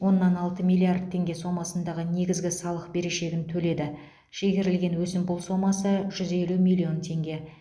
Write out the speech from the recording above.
оннан алты миллиард теңге сомасындағы негізгі салық берешегін төледі шегерілген өсімпұл сомасы жүз елу миллион теңге